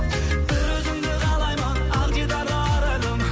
бір өзіңді қалаймын ақ дидарлы арайлым